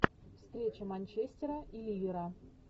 встреча манчестера и ливера